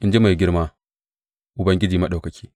in ji mai girma, Ubangiji Maɗaukaki.